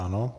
Ano.